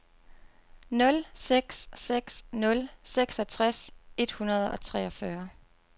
nul seks seks nul seksogtres et hundrede og treogfyrre